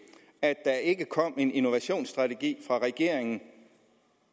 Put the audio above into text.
at der ikke kom en innovationsstrategi fra regeringen